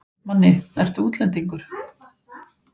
Manni, ertu útlendingur?